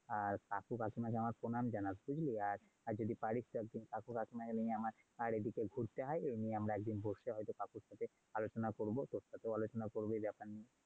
আর কাকু-কাকিমাকে আমার প্রণাম জানাস। বুঝলি। আর যদি পারিস তো কাকু-কাকিমা কে নিয়ে আমার এদিকে ঘুরতে আয় এই নিয়ে আমরা বসলে হয়তো কাকুর সাথেও আলোচনা করবো। তোর সাথেও আলোচনা করবো এই ব্যাপার নিয়ে।